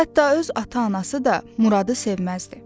Hətta öz ata-anası da Muradı sevməzdi.